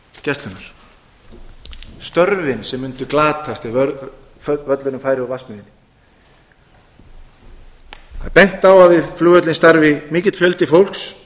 landhelgisgæslunnar störfin sem mundu glatast ef völlurinn færi úr vatnsmýrinni það er bent á að við flugvöllinn starfi mikill fjöldi fólks